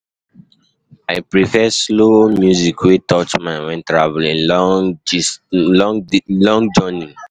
I prefer slow music wey touch mind when traveling long journey